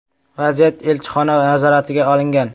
Vaziyat elchixona nazoratiga olingan.